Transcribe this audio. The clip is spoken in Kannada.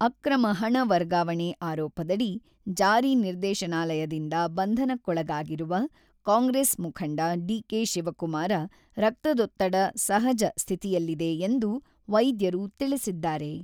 ಅಕ್ರಮ ಹಣ ವರ್ಗಾವಣೆ ಆರೋಪದಡಿ ಜಾರಿ ನಿರ್ದೇಶನಾಲಯದಿಂದ ಬಂಧನಕ್ಕೊಳಗಾಗಿರುವ ಕಾಂಗ್ರೆಸ್ ಮುಖಂಡ ಡಿ.ಕೆ.ಶಿವಕುಮಾರ ರಕ್ತದೊತ್ತಡ ಸಹಜ ಸ್ಥಿತಿಯಲ್ಲಿದೆ ಎಂದು ವೈದ್ಯರು ತಿಳಿಸಿದ್ದಾರೆ.